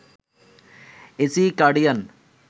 AC cardigan